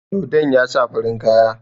Dodon ya sa farin kaya.